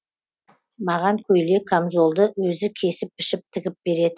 маған көйлек камзолды өзі кесіп пішіп тігіп